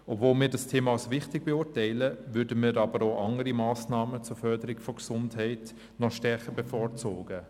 Obwohl wir dieses Thema als wichtig erachten, würden wir andere Massnahmen zur Förderung der Gesundheit stärker bevorzugen.